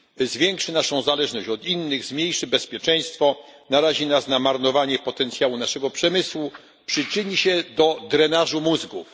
Zwiększy naszą zależność od innych, zmniejszy bezpieczeństwo, narazi nas na marnowanie potencjału naszego przemysłu, przyczyni się do drenażu mózgów.